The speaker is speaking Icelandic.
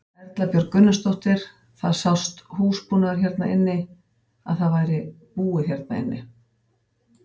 Erla Björg Gunnarsdóttir: Það sást húsbúnaður hérna inni að það væri búið hérna inni?